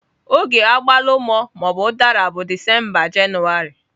Oge agbalumo/udara bụ Disemba Jenụwarị.